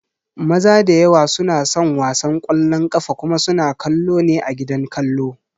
Maza da yawa suna son wasan ƙwallon ƙafa kuma suna kallo ne a gidan kallo